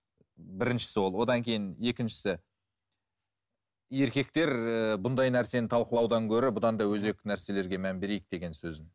біріншісі ол одан кейін екіншісі еркектер ііі бұндай нәрсені талқылаудан гөрі бұдан да өзекті нәрселерге мән берейік деген сөзін